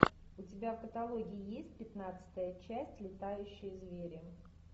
у тебя в каталоге есть пятнадцатая часть летающие звери